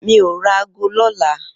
Mi ó rà àgó lòlá